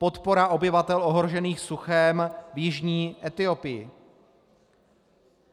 Podpora obyvatel ohrožených suchem v jižní Etiopii.